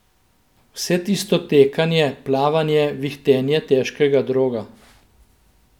Vse tisto tekanje, plavanje, vihtenje težkega droga.